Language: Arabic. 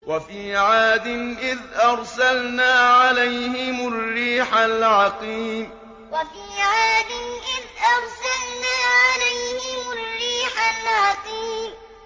وَفِي عَادٍ إِذْ أَرْسَلْنَا عَلَيْهِمُ الرِّيحَ الْعَقِيمَ وَفِي عَادٍ إِذْ أَرْسَلْنَا عَلَيْهِمُ الرِّيحَ الْعَقِيمَ